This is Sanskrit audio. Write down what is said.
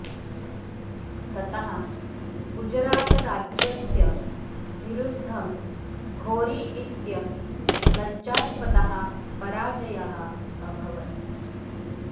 ततः गुजरातराज्यस्य विरुद्धं घोरी इत्य लज्जास्पदः पराजयः अभवत्